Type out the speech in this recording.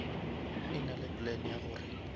e nale plan ya gore